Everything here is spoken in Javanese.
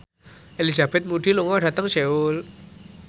Elizabeth Moody lunga dhateng Seoul